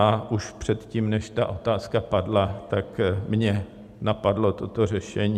A už předtím, než ta otázka padla, tak mě napadlo toto řešení.